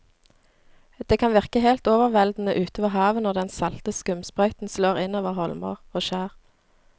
Det kan virke helt overveldende ute ved havet når den salte skumsprøyten slår innover holmer og skjær.